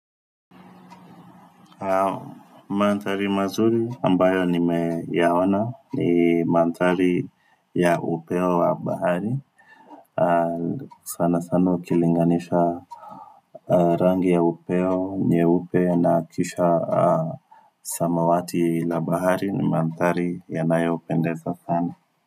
Manthari mazuri ambayo nimeyaona ni manthari ya upeo wa bahari. Sana sana ukilinganisha rangi ya upeo, nyeupe na kisha samawati la baharini manthari yanayoupendeza sana.